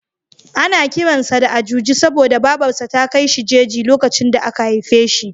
Ana kiran sa da Ajuji saboda Babar sa ta kai shi jeji lokacin da aka haife shi.